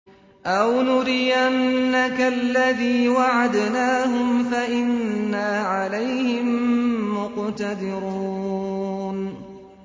أَوْ نُرِيَنَّكَ الَّذِي وَعَدْنَاهُمْ فَإِنَّا عَلَيْهِم مُّقْتَدِرُونَ